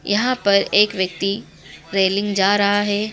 यहाँ पर एक व्यक्ति रेलिंग जा रहा है।